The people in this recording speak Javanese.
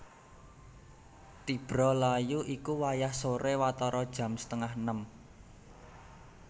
Tibra layu iku wayah soré watara jam setengah enem